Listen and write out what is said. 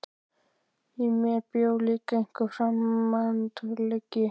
Í mér bjó líka einhver framandleiki.